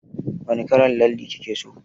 Wani kalar lalle kike so?